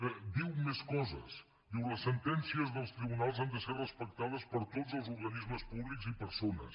i diu més coses diu les sentències dels tribunals han de ser respectades per tots els organismes públics i persones